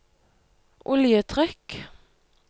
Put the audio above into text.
oljetrykk